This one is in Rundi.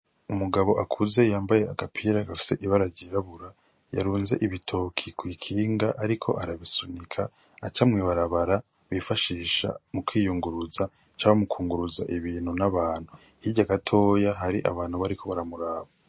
Umugabo akuze yambaye agapira gafise ibara ryirabura, yarunze ibitoke kw'ikinga ariko arabisunika aca mw'ibarabara bifashisha mu kwiyunguruza canke mu kunguruza ibintu n'abantu, hirya gatoya hari abantu bariko baramuraba.